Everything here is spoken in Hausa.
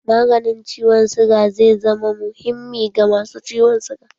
Maganin ciwon suga zai zama muhimmi ga masu ciwon suga